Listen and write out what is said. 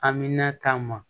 Amina ta ma